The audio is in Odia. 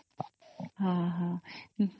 ହଁ